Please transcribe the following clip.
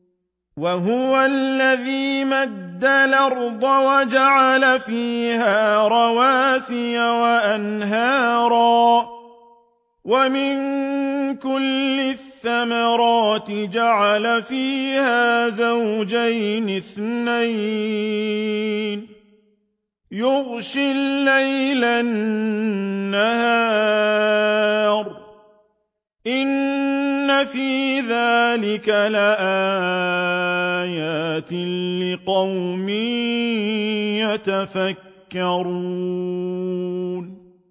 وَهُوَ الَّذِي مَدَّ الْأَرْضَ وَجَعَلَ فِيهَا رَوَاسِيَ وَأَنْهَارًا ۖ وَمِن كُلِّ الثَّمَرَاتِ جَعَلَ فِيهَا زَوْجَيْنِ اثْنَيْنِ ۖ يُغْشِي اللَّيْلَ النَّهَارَ ۚ إِنَّ فِي ذَٰلِكَ لَآيَاتٍ لِّقَوْمٍ يَتَفَكَّرُونَ